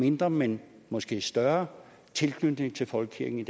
mindre men måske større tilknytning til folkekirken i